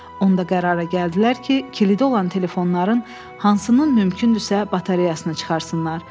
Onda qərara gəldilər ki, kilidi olan telefonların hansının mümkündürsə batareyasını çıxartsınlar.